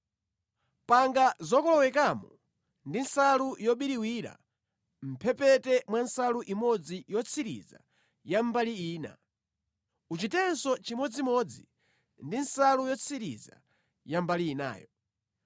Panga zokolowekamo za nsalu yobiriwira mʼmphepete mwa nsalu imodzi yotsiriza ya mbali ina. Uchitenso chimodzimodzi ndi nsalu yotsiriza ya mbali inayo.